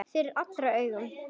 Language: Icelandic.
Fyrir allra augum!